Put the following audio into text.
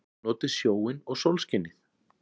Notið sjóinn og sólskinið!